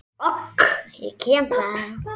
OK, ég kem þá!